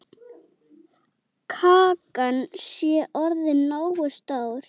Kakan sé orðin nógu stór.